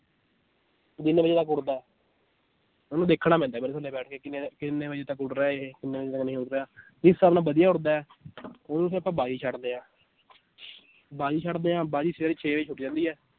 ਜਿੰਨੇ ਵਜੇ ਤੱਕ ਉੱਡਦਾ ਹੈ ਉਹਨੂੰ ਦੇਖਣਾ ਪੈਂਦਾ ਹੈ ਫਿਰ ਥੱਲੇ ਬੈਠ ਕੇ ਕਿੰਨੇ ਕਿੰਨੇ ਵਜੇ ਤੱਕ ਉੱਡ ਰਿਹਾ ਇਹ ਕਿੰਨੇ ਵਜੇ ਤੱਕ ਨਹੀਂ ਉੱਡ ਰਿਹਾ ਵਧੀਆ ਉੱਡਦਾ ਹੈ ਉਹਨੂੰ ਫਿਰ ਆਪਾਂ ਬਾਜ਼ੀ ਛੱਡਦੇ ਹਾਂ ਬਾਜ਼ੀ ਛੱਡਦੇ ਹਾਂ ਬਾਜ਼ੀ ਸਵੇਰੇ ਛੇ ਵਜੇ ਜਾਂਦੀ ਹੈ